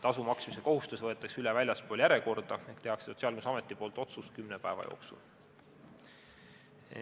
Tasu maksmise kohustus võetakse üle väljaspool järjekorda, Sotsiaalkindlustusamet teeb otsuse kümne päeva jooksul.